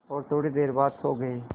और थोड़ी देर बाद सो गए